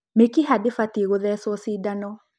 mĩkiha ndibatiĩ gũthecwo cindano